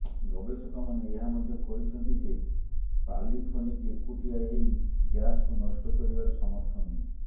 ଗବେଷକମାନେ ଏହା ମଧ୍ୟ କହିଛନ୍ତି ଯେ ପାଲିଫୋନିକ୍ ଏକୁଟିଆ ଏହି ଗ୍ୟାସ୍କୁ ନଷ୍ଟ କରିବାରେ ସମର୍ଥ ନୁହେଁ